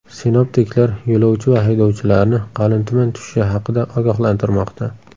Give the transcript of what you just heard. Sinoptiklar yo‘lovchi va haydovchilarni qalin tuman tushishi haqida ogohlantirmoqda.